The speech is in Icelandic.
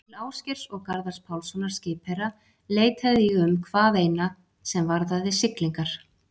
Til Ásgeirs og Garðars Pálssonar skipherra leitaði ég um hvað eina, sem varðaði siglingar.